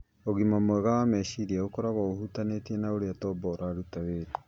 Ũgima mwega wa meciria ũkoragwo ũhutanĩtie na ũrĩa tombo ũrutaga wĩra,